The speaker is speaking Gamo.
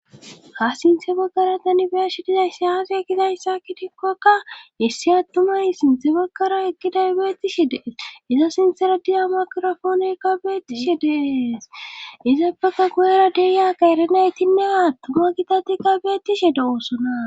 ha sinthe baggara tanibe'eshi dizay sayafe ekizaysaakidikkoaka issi attumay sinthe baggara ekiday beettishe dees iza sinthera diza makirofoonoykka beettishe dees iza baka guyera deyaka erinaytinneaattuma kitati ka beettishe dawosona